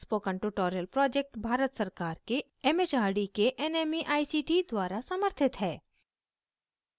spoken tutorial project Bharat सरकार के M H R D के nmeict द्वारा समर्थित है